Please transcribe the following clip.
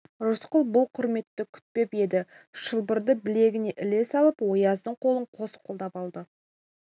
рысқұл бұл құрметті күтпеп еді шылбырды білегіне іле салып ояздың қолын қос қолдап алды